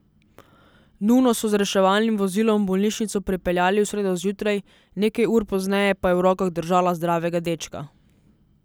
Nuno so z reševalnim vozilom v bolnišnico pripeljali v sredo zjutraj, nekaj ur pozneje pa je v rokah držala zdravega dečka.